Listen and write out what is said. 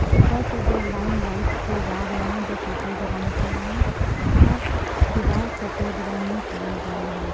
और ऊपर से दो लाइन लाइट के जा रहे हैं जो सफेद रंग के हैं और दीवार सफेद रंग में किए गए हैं।